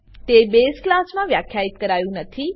તે બસે class base class માં વ્યાખ્યિત કરાયું નથી